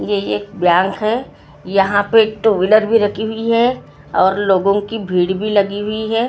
ये एक बँक है यहाँ पे टु व्हीलर भी रखी भी है और लोगों की भीड भी लगी भी है और आप--